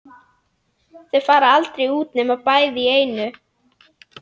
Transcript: Þau fara aldrei út nema bæði í einu.